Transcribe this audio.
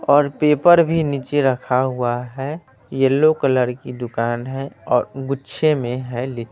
और पेपर भी नीचे रखा हुआ है येलो कलर की दुकान है और गुच्छे में हैं लिच--